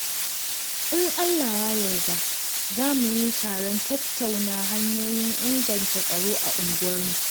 In Allah ya yarda, za mu yi taron tattauna hanyoyin inganta tsaro a unguwarmu.